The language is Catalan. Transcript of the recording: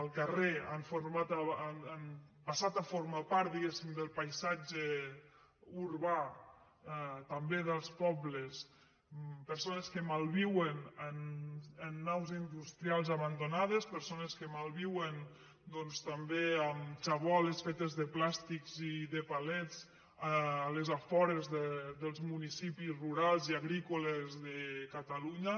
al carrer han passat a formar part diguéssim del paisat·ge urbà també dels pobles persones que malviuen en naus industrials abandonades persones que malviuen doncs també amb xaboles fetes de plàstics i de palets als afores dels municipis rurals i agrícoles de catalu·nya